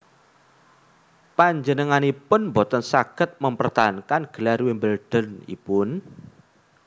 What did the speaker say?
Panjenenganipun boten saged mempertahankan gelar Wimbledon ipun